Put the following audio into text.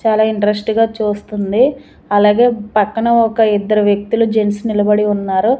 చాలా ఇంట్రెస్ట్ గా చూస్తుంది అలాగే పక్కన ఒక ఇద్దరు వ్యక్తులు జెంట్స్ నిలబడి ఉన్నారు.